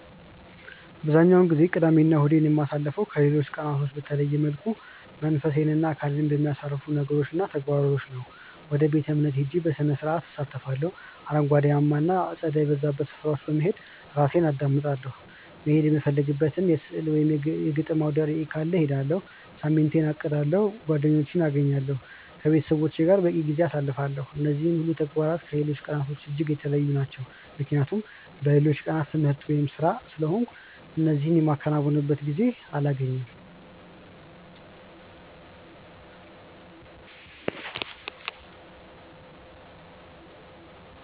አብዛኛውን ጊዜ ቅዳሜ እና እሁዴን የማሳልፈው ከሌሎች ቀናቶች በተለየ መልኩ መንፈሴን እና አካሌን በሚያሳርፉ ነገሮች እና ተግባራቶች ነው። ወደ ቤተ-እምነት ሄጄ ከስርዓቱ እሳተፋለሁ፤ አረንጓዴያማ እና አጸድ የበዛባቸው ስፍራዎች በመሄድ ራሴን አዳምጣለሁ፤ መሄድ የምፈልግበት የሥዕል እና የግጥም አውደርዕይ ካለ እሄዳለሁ፤ ሳምንቴን አቅዳለሁ፤ ጓደኞቼን አገኛለሁ፤ ከቤተሰቦቼ ጋር በቂ ጊዜ አሳልፋለሁ። እነዚህ ሁሉ ተግባራት ከሌሎች ቀናቶች እጅግ የተለዩ ናቸው ምክንያቱም በሌሎቹ ቀናት ትምህርት ወይም ስራ ስለሆንኩ እነዚህ የማከናውንበት ጊዜ አላገኝም።